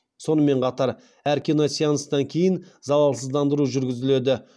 сонымен қатар әр киносеанстан кейін залалсыздандыру жүргізіледі